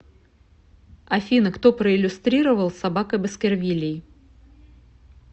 афина кто проиллюстрировал собака баскервилей